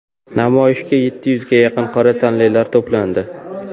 Namoyishga yetti yuzga yaqin qora tanlilar to‘plandi.